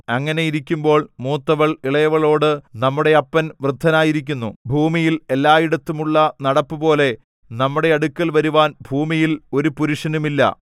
അങ്ങനെയിരിക്കുമ്പോൾ മൂത്തവൾ ഇളയവളോട് നമ്മുടെ അപ്പൻ വൃദ്ധനായിരിക്കുന്നു ഭൂമിയിൽ എല്ലായിടവും ഉള്ള നടപ്പുപോലെ നമ്മുടെ അടുക്കൽ വരുവാൻ ഭൂമിയിൽ ഒരു പുരുഷനും ഇല്ല